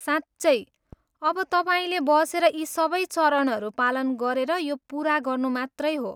साँच्चै! अब तपाईँले बसेर यी सबै चरणहरू पालन गरेर यो पुरा गर्नु मात्रै हो।